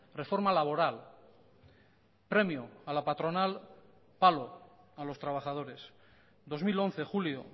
reforma laboral premio a la patronal palo a los trabajadores dos mil once julio